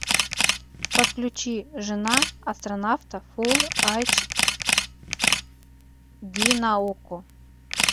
подключи жена астронавта фул айч ди на окко